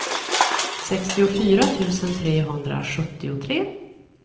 sextiofyra tusen trehundrasjuttiotre